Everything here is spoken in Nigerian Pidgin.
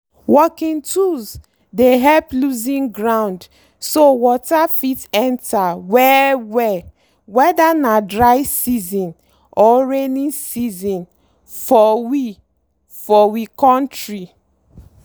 working tools dey help loosen ground so water fit enter well-well whether na dry season or rainy season for we for we kontri.